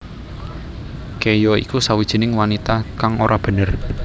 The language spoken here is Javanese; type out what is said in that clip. Ke ya iku sawijining wanita kang ora bener